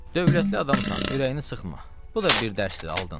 Dövlətli adamsan, ürəyini sıxma, bu da bir dərsdir aldın.